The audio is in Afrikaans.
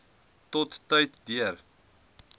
tot tyd deur